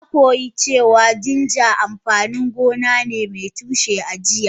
Na koyi cewa ginger amfanin gona ne mai tushe a jiya.